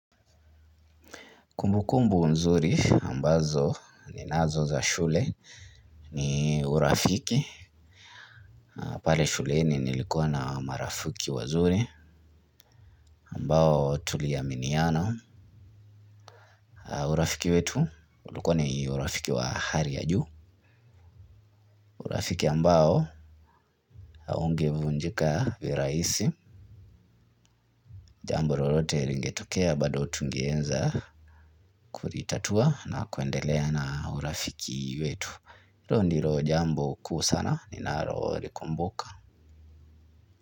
Kumbu kumbu nzuri ambazo ni nazo za shule ni urafiki. Pale shuleni nilikuwa na marafiki wazuri ambao tuliaminia. Urafiki wetu ulikuwa ni urafiki wa hali ya juu. Urafiki ambao haungevunjika viraisi. Jambo lolote lingetokea bado tungeweza kulitatua na kuendelea na urafiki wetu. Hilo ndilo jambo kuu sana ni nalo likumbuka.